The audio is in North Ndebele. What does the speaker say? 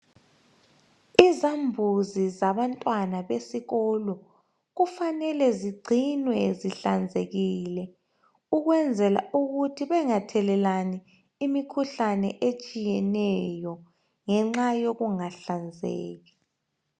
izambuzi zabantwana besikolo kufanele zigcinwe zihlanzekile ukwenzela ukuthi bengathelelani imikhuhlane etshiyeneyo ngenxa yokungahlanzeki